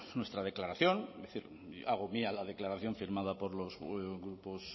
nuestra declaración es decir hago mía la declaración firmada por los grupos